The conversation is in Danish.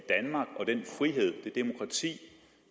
sige